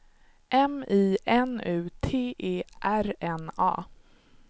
M I N U T E R N A